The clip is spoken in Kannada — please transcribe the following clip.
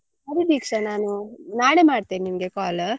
ಸರಿ ದೀಕ್ಷಾ ನಾನು ನಾಳೆ ಮಾಡ್ತೇನೆ ನಿನ್ಗೆ call .